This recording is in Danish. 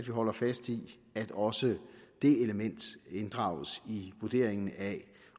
holder fast i at også det element inddrages i vurderingen af